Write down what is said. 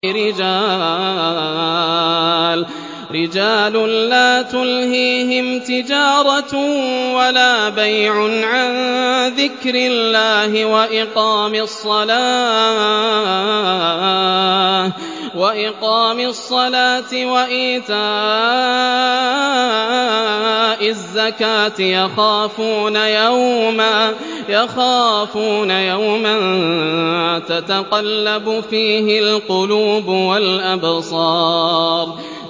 رِجَالٌ لَّا تُلْهِيهِمْ تِجَارَةٌ وَلَا بَيْعٌ عَن ذِكْرِ اللَّهِ وَإِقَامِ الصَّلَاةِ وَإِيتَاءِ الزَّكَاةِ ۙ يَخَافُونَ يَوْمًا تَتَقَلَّبُ فِيهِ الْقُلُوبُ وَالْأَبْصَارُ